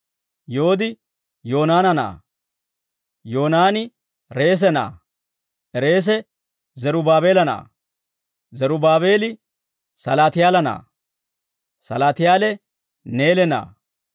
Yoodi Yoonaana na'aa; Yoonaani Reese na'aa; Reese Zerubaabeela na'aa; Zerubaabeeli Salaatiyaala na'aa; Salaatiyaale Neele na'aa;